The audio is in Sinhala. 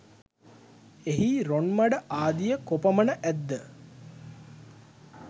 එහි රොන්මඩ ආදිය කොපමණ ඇත් ද